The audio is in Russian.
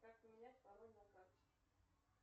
как поменять пароль на карте